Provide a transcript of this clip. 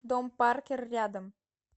дом паркер рядом